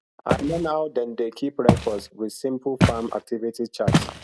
i learn how dem dey keep records with simple farm activity chart